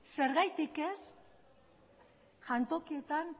zergatik ez jantokietan